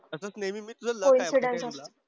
असंच नेहमी मी तुझं लक आहे माहिती आहे का तुला?